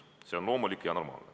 See on loomulik ja normaalne.